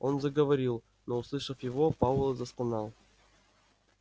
он заговорил но услышав его пауэлл застонал